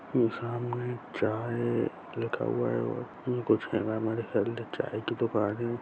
सामने चाय लिखा हुआ हैं और कुछ हैं न चाय की दुकान हैं।